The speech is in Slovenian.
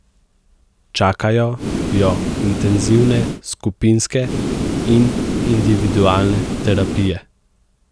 Čakajo jo intenzivne skupinske in individualne terapije.